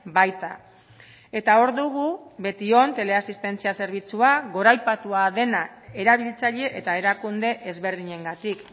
baita eta hor dugu betion teleasistentzia zerbitzua goraipatua dena erabiltzaile eta erakunde ezberdinengatik